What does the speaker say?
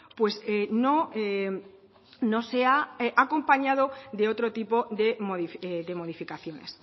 pues no se ha acompañado de otro tipo de modificaciones